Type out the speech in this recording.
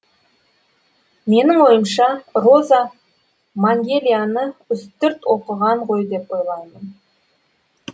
менің ойымша роза мәңгелияны үстірт оқыған ғой деп ойлаймын